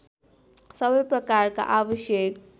सबै प्रकारका आवश्यक